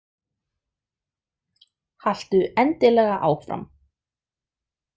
Haltu endilega áfram.